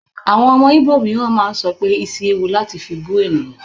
Àwọn ọmọ Igbo mìíràn máa ń sọ pé isi ewu láti fi bú ènìyàn.